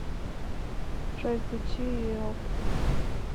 джой включи еоб